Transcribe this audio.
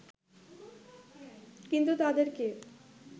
কিন্তু তাদেরকে